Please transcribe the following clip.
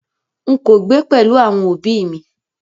N̄ kò gbé pẹ̀lú àwọn òbí ì mi